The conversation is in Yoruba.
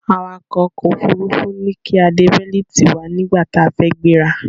Awàkọ̀ ọkò òfurufú ní kí a de bẹ́lítì wa nígbàtí a fẹ́ gbéra.